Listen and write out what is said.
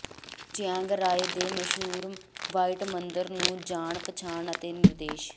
Chiang Rai ਦੇ ਮਸ਼ਹੂਰ white ਮੰਦਰ ਨੂੰ ਜਾਣ ਪਛਾਣ ਅਤੇ ਨਿਰਦੇਸ਼